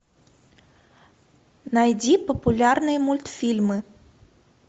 найди популярные мультфильмы